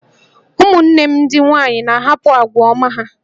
Ụmụnne m ndị nwanyị na-ahapụ àgwà ọma ha